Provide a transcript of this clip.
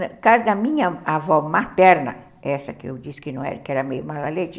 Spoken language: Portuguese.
Na casa da minha avó materna, essa que eu disse que era meio malalete,